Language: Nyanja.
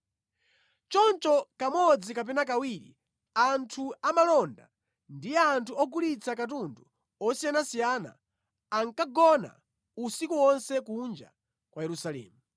Choncho kamodzi kapena kawiri anthu amalonda ndi anthu ogulitsa katundu osiyanasiyana ankagona usiku wonse kunja kwa Yerusalemu.